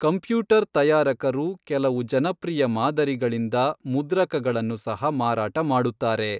Computer ತಯಾರಕರು ಕೆಲವು ಜನಪ್ರಿಯ ಮಾದರಿಗಳಿಂದ ಮುದ್ರಕಗಳನ್ನು ಸಹ ಮಾರಾಟ ಮಾಡುತ್ತಾರೆ.